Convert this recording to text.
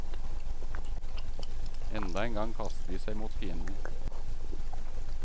Enda en gang kaster de seg mot fienden.